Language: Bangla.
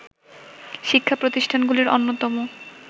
শিক্ষা প্রতিষ্ঠানগুলির অন্যতম